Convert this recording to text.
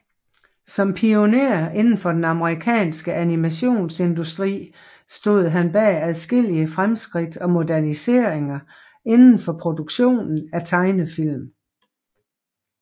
Som pioner indenfor den amerikanske animationsindustri stod han bag adskillige fremskridt og moderniseringer inden for produktionen af tegnefilm